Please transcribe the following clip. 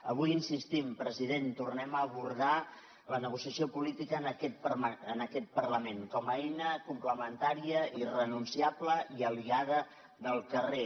avui insistim president tornem a abordar la negociació política en aquest parlament com a eina complementària irrenunciable i aliada del carrer